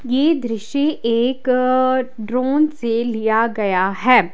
ये द्रिस्य एक ड्रोन से लिया गया है।